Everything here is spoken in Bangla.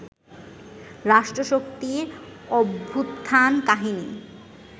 রাষ্ট্রশক্তির অভ্যুত্থান-কাহিনী